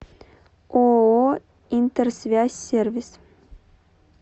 ооо интерсвязь сервис